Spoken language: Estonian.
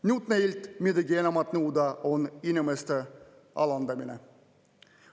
Nüüd neilt midagi enamat nõuda on inimeste alandamine.